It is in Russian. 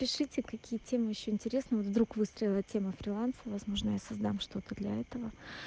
пишите какие темы ещё интересны вдруг выстрела тема фриланс возможно я создам что-то для этого